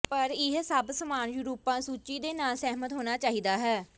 ਪਰ ਇਹ ਸਭ ਸਾਮਾਨ ਯੂਰੋਪਾ ਸੂਚੀ ਦੇ ਨਾਲ ਸਹਿਮਤ ਹੋਣਾ ਚਾਹੀਦਾ ਹੈ